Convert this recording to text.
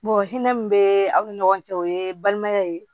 hinɛ min bɛ aw ni ɲɔgɔn cɛ o ye balimaya ye